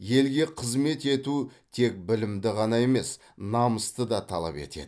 елге қызмет ету тек білімді ғана емес намысты да талап етеді